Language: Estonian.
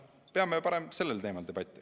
Peame parem sellel teemal debatti.